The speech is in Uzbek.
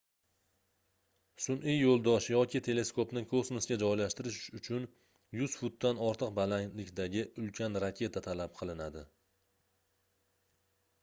sunʼiy yoʻldosh yoki teleskopni kosmosga joylashtirish uchun 100 futdan ortiq balandlikdagi ulkan raketa talab qilinadi